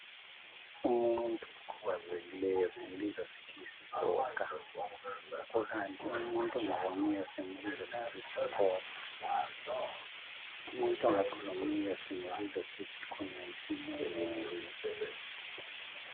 Umuntu okhubazekileyo simbiza sithi yisigoga kukanti umuntu ongaboniyo simbiza ngokuthi yisiphofu. Umuntu ongakhulumiyo simbiza ngokuthi yisimungulu.